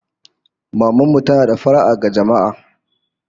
Maman mu tana da fara'a ga jama'a